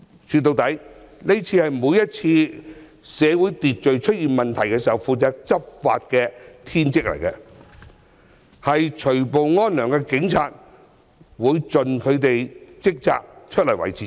說到底，在社會秩序出現問題的時候，除暴安良是執法者的天職，警察會盡責地維持治安。